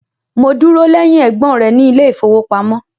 Mo dúrọ̀ lẹ̀hìn ẹ̀gbọn rẹ ni ilẹ̀ ifowopamọ̀.